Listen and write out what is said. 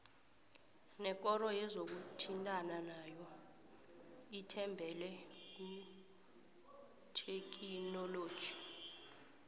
nekoro yezokuthintana nayo ithembele kuthekhinoloji